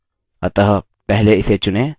अतः पहले इसे चुनें